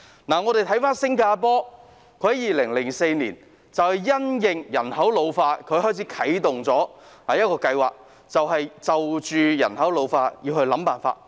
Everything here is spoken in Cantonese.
我們再看新加坡，他們在2004年因應人口老化啟動了一項計劃，就人口老化問題想辦法。